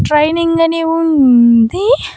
Training అని ఉంది.